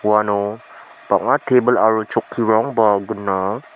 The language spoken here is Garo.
uano bang·a tebil aro chokkirangba gnang.